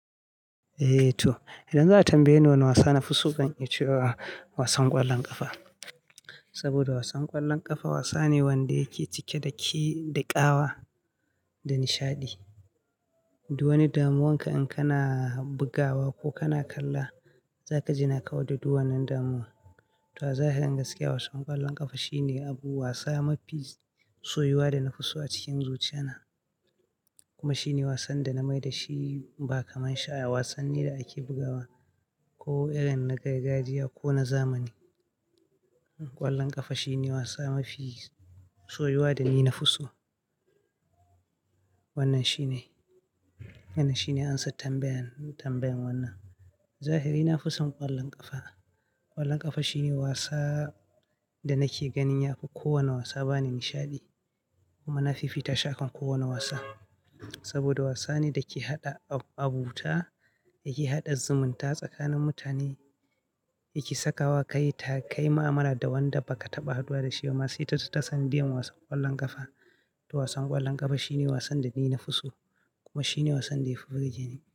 Eh to, idan za a tambaye ni wane wasa na fi so kan yi ce wa wasan ƙwallon ƙafa. Saboda wasan ƙwallon ƙafa wasa ne wanda yake cike da ƙi da ƙawa da nishaɗi. Duwanni damuwanka in kana bugawa ko kana kalla, za ka jinaka da duwannan damuwa. To zahiri gaskiya wasan ƙwallon ƙafa shine abu wasa mafi soyuwa da na fi so a cikin zuciyana. Kuma shine wasan da na mai da shi ba kamar sha'awa. Wasan ne da ake bugawa ko irin na gargajiya ko na zamani. Ƙwallon ƙafa shine wasa mafi soyuwa da ni na fi so. Wannan shine, wannan shine ansar tambayan, tambayan wannan. Zahiri na fi son ƙwallon ƙafa. Ƙwallon ƙafa shine wasa da nake ganin yafi kowane wasa bani nishaɗi kuma na fi fita shi akan kowane wasa. Saboda wasa ne da ke haɗa abu, abu ta, yake haɗa zumunta tsakanin mutane, yake sakawa ka yi ta kai mu'amala da wanda baka taɓa haduwa da shi ba. Masu ita ta san diyan wasan ƙwallon ƙafa. To wasan ƙwallon ƙafa shine wasan da ni na fi so kuma shine wasan da yafi burge ni.